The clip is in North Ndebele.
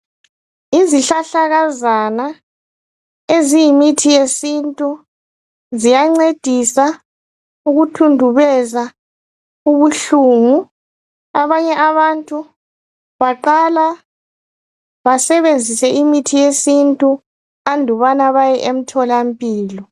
Izihlahlakazana eziyimithi yesintu siyancedisa ukuthundubeza ukubuhlungu. Abanye abantu baqala basebenzise imuthi yesintu andubana baye emtholampilo.